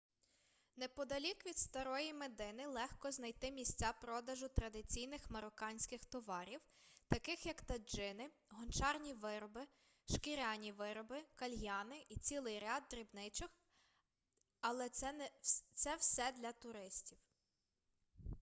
неподалік від старої медини легко знайти місця продажу традиційних марокканських товарів таких як таджини гончарні вироби шкіряні вироби кальяни і цілий ряд дрібничок але це все для туристів